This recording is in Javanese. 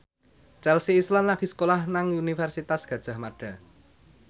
Chelsea Islan lagi sekolah nang Universitas Gadjah Mada